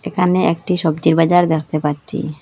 এখানে একটি সবজির বাজার দ্যাখতে পাচ্ছি।